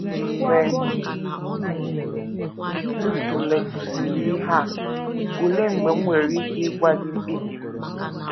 Mgbe m tụlekwusịrị ihe a, olee mgbe m nwere ike ịgwa gị mkpebi m?